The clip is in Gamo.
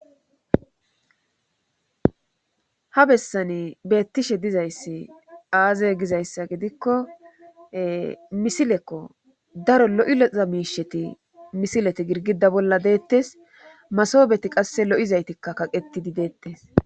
Ha bessani beettishe dizayssi aaze gizayssa gidikko misilekko daro lo7iloza miisheti misileti girgida bolla deettes masobeti qasse lo7izaytikka kaqettidi deettes